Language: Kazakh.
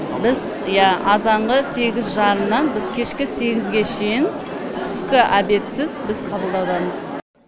біз ия азанғы сегіз жарымнан біз кешкі сегізге шейін түскі обедсіз біз қабылдаудамыз